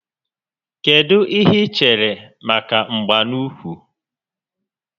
Kedụ ihe i chere maka mgba n'úkwù